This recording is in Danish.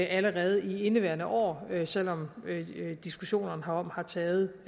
allerede i indeværende år selv om diskussionerne herom har taget